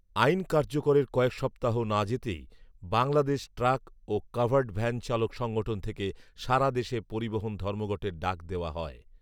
আইন কার্যকরের কয়েক সপ্তাহ না যেতেই বাংলাদেশ ট্রাক ও কাভার্ড ভ্যান চালক সংঘঠন থেকে সারা দেশে পরিবহণ ধর্মঘটের ডাক দেয়া হয়